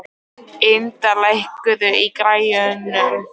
Ynda, lækkaðu í græjunum.